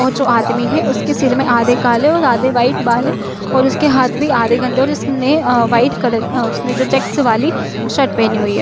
और जो आदमी है उसके सिर में आधे काले और आधे वाइट बाल है और उसके हाथ भी आधे गंदे है और उसने वाइट कलर उसने जो चेक्स वाली शर्ट पेहनी हुई है।